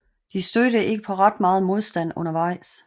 De stødte ikke på ret meget modstand undervejs